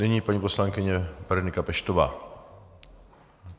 Nyní paní poslankyně Berenika Peštová.